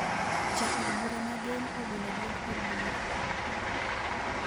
Ja od bura ma gem owilo duond od bura